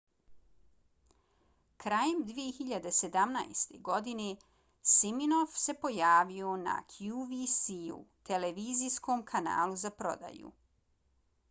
krajem 2017. godine siminoff se pojavio na qvc-u televizijskom kanalu za prodaju